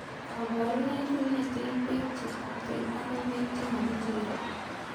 Kaborunoik kong'eteen beek chetuten akoi beek chemakitere